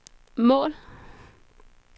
mål